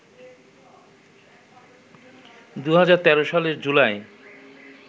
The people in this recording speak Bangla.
২০১৩ সালের জুলাইয়ে